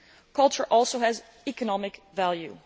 Culture also has economic value.